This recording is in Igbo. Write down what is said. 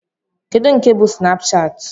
Kedu nke bú Snapchat?